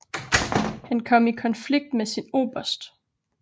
Han kom i konflikt med sin oberst